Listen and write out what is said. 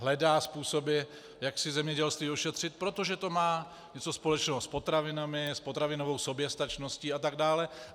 Hledá způsoby, jak si zemědělství ošetřit, protože to má něco společného s potravinami, s potravinovou soběstačností atd.